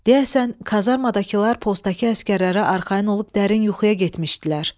Deyəsən, kazarmadakılar postdakı əsgərlərə arxayın olub dərin yuxuya getmişdilər.